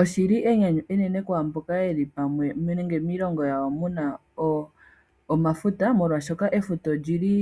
Oshi li enyanyu enene kwaamboka ye li pamwe nenge miilongo yawo mu na omafuta molwaashoka efuta olyi li